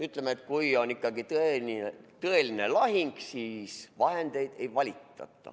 Ütleme, et kui on ikkagi tõeline lahing, siis vahendeid ei valita.